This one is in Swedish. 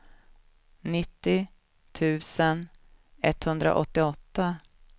nittio tusen etthundraåttioåtta